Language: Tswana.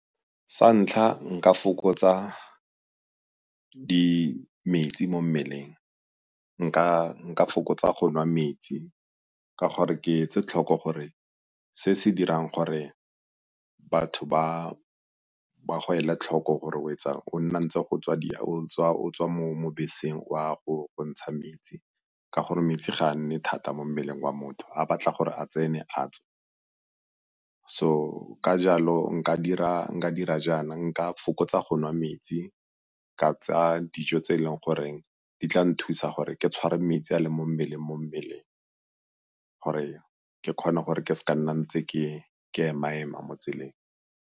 Sa ntlha nka fokotsa metsi mo mmeleng, nka fokotsa go nwa metsi ka gore ke etse tlhoko gore se se dirang gore batho ba go ele tlhoko gore o etsang go nna ntse o tswa mo beseng o a go ntsha metsi ka gore metsi ga a nne thata mo mmeleng wa motho a batla gore a tsene a tswe. So ka jalo nka dira jaana, nka fokotsa go nwa metsi, ka tsaya dijo tse e leng gore di tla nthusa gore ke tshware metsi a a leng mo mmeleng mo mmeleng gore ke kgone gore ke se ka nna ntse ke ema-ema mo tseleng.